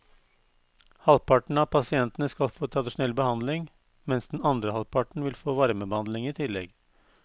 Halvparten av pasientene skal få tradisjonell behandling, mens den andre halvparten vil få varmebehandling i tillegg.